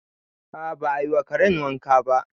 A'a ba a yi wa karen wanka ba